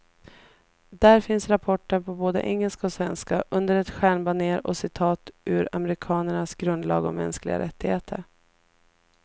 Där finns rapporten på både engelska och svenska, under ett stjärnbanér och citat ur amerikanernas grundlag om mänskliga rättigheter.